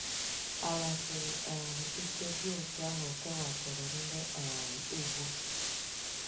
Ala siri um ike dị otú ahụ kewapụrụ ndị um ugwu.